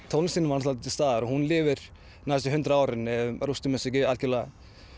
tónlistin er til staðar og hún lifir næstu hundrað árin ef við rústum þessu ekki algjörlega